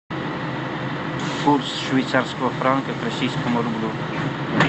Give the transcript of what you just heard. курс швейцарского франка к российскому рублю